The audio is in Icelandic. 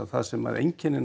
það sem einkennir